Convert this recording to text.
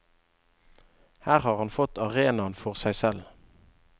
Her har han fått arenaen for seg selv.